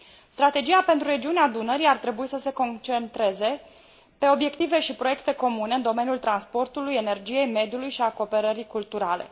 Strategia pentru regiunea Dunării ar trebui să se concentreze pe obiective și proiecte comune în domeniul transportului, energiei, mediului și al cooperării culturale.